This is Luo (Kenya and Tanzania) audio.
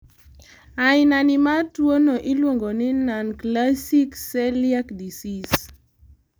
ainani mar tuwono iluongoni nonclassic celiac disease